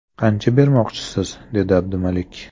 Qancha bermoqchisiz, - dedi Abdumalik.